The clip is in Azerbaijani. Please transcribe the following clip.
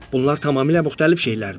Bunlar tamamilə müxtəlif şeylərdir.